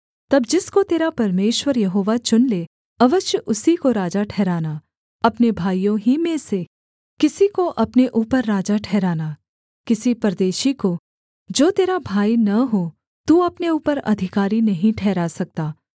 तब जिसको तेरा परमेश्वर यहोवा चुन ले अवश्य उसी को राजा ठहराना अपने भाइयों ही में से किसी को अपने ऊपर राजा ठहराना किसी परदेशी को जो तेरा भाई न हो तू अपने ऊपर अधिकारी नहीं ठहरा सकता